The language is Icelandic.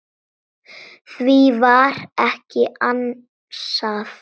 Því var ekki ansað.